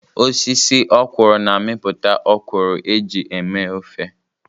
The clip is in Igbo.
Osisi ọ́kwụrụ̀ na-amịpụta ọ́kwụrụ̀ eji eme ofe.